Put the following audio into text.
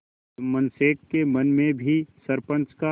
जुम्मन शेख के मन में भी सरपंच का